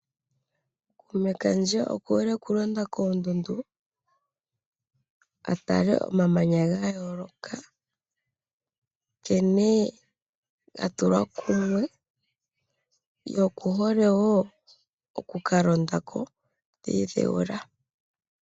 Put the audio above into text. Kuume kandje oku hole okulonda koondundu, atale omamanya ga yooloka nkene ga tulwa kumwe, noku hole wo oku ka londako ta idhewula.